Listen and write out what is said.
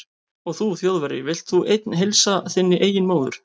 Og þú Þjóðverji, vilt þú einn heilsa þinni eigin móður